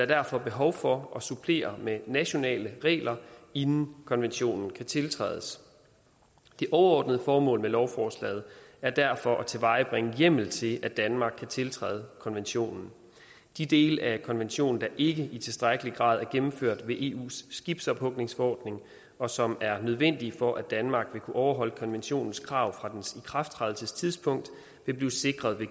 derfor behov for at supplere med nationale regler inden konventionen kan tiltrædes det overordnede formål med lovforslaget er derfor at tilvejebringe hjemmel til at danmark kan tiltræde konventionen de dele af konventionen der ikke i tilstrækkelig grad er gennemført ved eus skibsophugningsforordning og som er nødvendige for at danmark vil kunne overholde konventionens krav fra dens ikrafttrædelsestidspunkt vil blive sikret